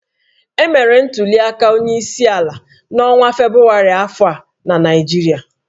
Emere ntuliaka onyeisiala n'ọnwa Febụwarị afọ a na Naịjirịa